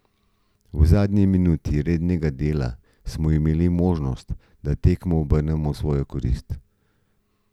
V zadnji minuti rednega dela smo imeli možnost, da tekmo obrnemo v svojo korist.